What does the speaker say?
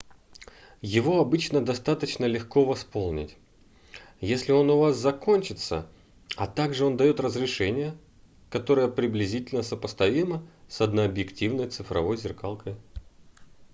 его обычно достаточно легко восполнить если он у вас закончится а также он дает разрешение которое приблизительно сопоставимо с однообъективной цифровой зеркалкой